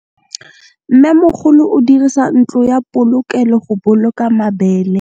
Mmêmogolô o dirisa ntlo ya polokêlô, go boloka mabele.